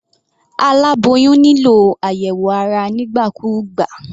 Aláboyún nílò àyẹ̀wò ara nígbà kúgbà.